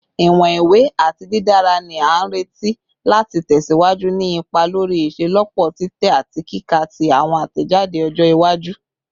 Iwọn iwe ati didara ni a nireti lati tẹsiwaju ni ipa lori iṣelọpọ titẹ ati kika ti awọn atẹjade ọjọ iwaju